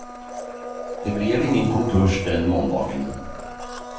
Det blev ingen konkurs den måndagen.